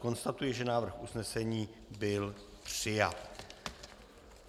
Konstatuji, že návrh usnesení byl přijat.